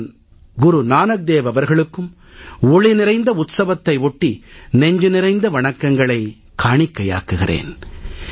நான் குரு நானக் தேவ் அவர்களுக்கும் ஒளி நிறைந்த உற்சவத்தை ஒட்டி நெஞ்சு நிறைந்த வணக்கங்களைக் காணிக்கையாக்குகிறேன்